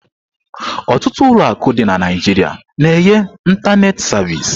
Ọtụtụ ụlọ akụ dị na Naịjirịa na-enye ịntanetị savịsị.